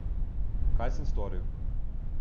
Kaj sem storil?